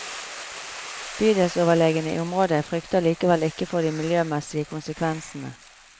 Bydelsoverlegene i området frykter likevel ikke for de miljømessige konsekvensene.